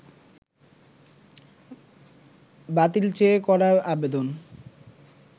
বাতিল চেয়ে করা আবেদন